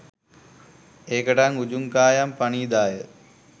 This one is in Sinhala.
ඒකටයි උජුං කායං පණිධාය